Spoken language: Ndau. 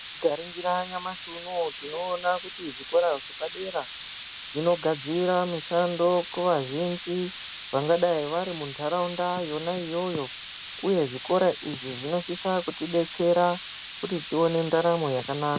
Tika ningira nyamashi unowu tino ona kuti zvikora zvapa dera zvinogadzira mishando kuva zhinji vanga dai vari mundaraunda yona yoyo uye zvikora izvi zvino sisa kuti betsera kuti tione ndaramo yaka naka